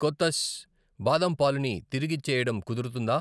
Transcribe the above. కొతస్ బాదం పాలుని తిరిగిచ్చేయడం కుదురుతుందా?